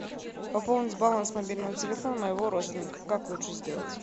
пополнить баланс мобильного телефона моего родственника как лучше сделать